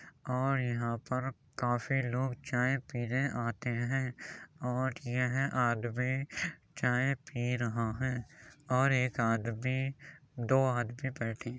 और यहां पर काफ़ी लोग चाय पीने आते हैं और यह आदमी चाय पी रहा है और एक आदमी दो आदमी बैठे --